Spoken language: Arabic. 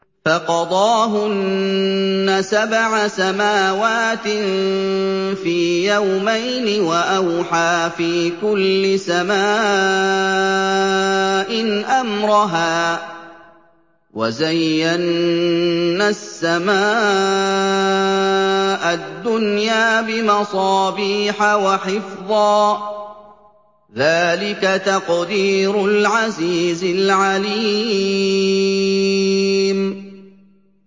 فَقَضَاهُنَّ سَبْعَ سَمَاوَاتٍ فِي يَوْمَيْنِ وَأَوْحَىٰ فِي كُلِّ سَمَاءٍ أَمْرَهَا ۚ وَزَيَّنَّا السَّمَاءَ الدُّنْيَا بِمَصَابِيحَ وَحِفْظًا ۚ ذَٰلِكَ تَقْدِيرُ الْعَزِيزِ الْعَلِيمِ